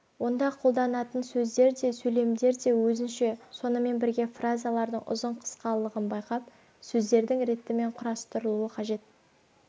онда қолданатын сөздер де сөйлемдер де өзінше сонымен бірге фразалардың ұзын-қысқалығын байқап сөздердің ретімен құрастырылуы қажет